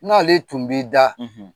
N'ale tun b'i da